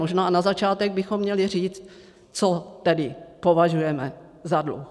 Možná na začátek bychom měli říct, co tedy považujeme za dluh.